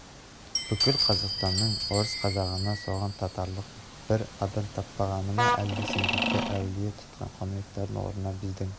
бүкіл қазақстанның орыс-қазағынан соған татырлық бір адам таппағаны ма әлде сендердің әулие тұтқан қонаевтарыңның орнына біздің